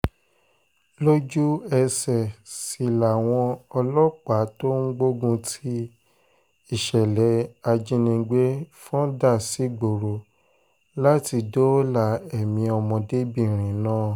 lójú-ẹsẹ̀ sì làwọn ọlọ́pàá tó ń gbógun ti ìṣẹ̀lẹ̀ ìjínigbé fọ́n dà sígboro láti dóòlà èmi ọmọdébìnrin náà